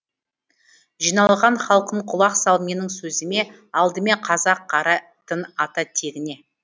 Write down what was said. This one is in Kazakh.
жиналған халқым құлақ сал менің сөзіме алдымен қазақ қарайтын ата тегіне